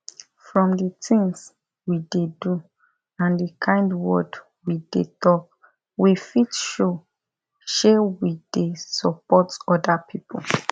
from the things we dey do and the kind word we dey talk we fit show she we dey support other people